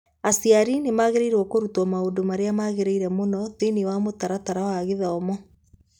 Aciari nĩ magĩrĩirũo kũrutwo maũndũ marĩa magĩrĩire mũno thĩinĩ wa mũtaratara wa gĩthomo